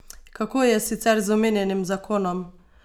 Kako je sicer z omenjenim zakonom?